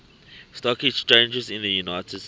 stock exchanges in the united states